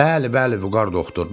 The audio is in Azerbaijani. Bəli, bəli, Vüqar doktor.